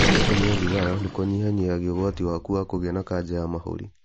Gũtiga kũnyua thigara nĩ kũnyihanyihiaga ũgwati waku wa kũgĩa na kanja ya mahũri.